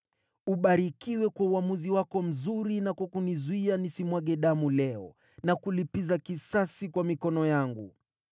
Ubarikiwe kwa uamuzi wako mzuri na kwa kunizuia nisimwage damu leo na kulipiza kisasi kwa mikono yangu.